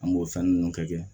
An b'o fɛn ninnu kɛ